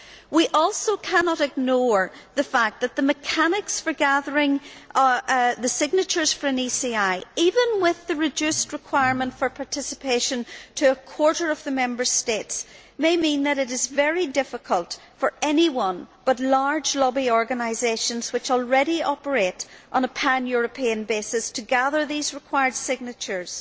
We also cannot ignore the fact that the mechanics for gathering the signatures for an ECI, even with the requirement for participation reduced to a quarter of the Member States, may mean that it is very difficult for anyone but large lobby organisations which already operate on a pan European basis to gather these required signatures.